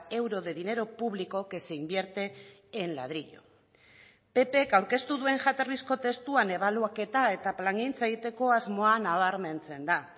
euro de dinero público que se invierte en ladrillo ppk aurkeztu duen jatorrizko testuan ebaluaketa eta plangintza egiteko asmoa nabarmentzen da